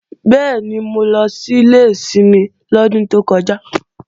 Bẹ́ẹ̀ni, mo lọ sílé ìsinmi lọ́dún tó kọjá